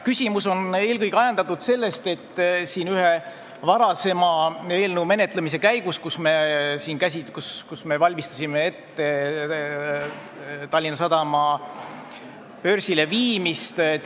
Küsimus on eelkõige ajendatud ühe varasema eelnõu menetlemisest, mille käigus me valmistasime ette Tallinna Sadama börsile viimist.